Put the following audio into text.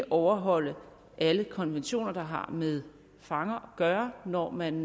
overholde alle konventioner der har med fanger at gøre når man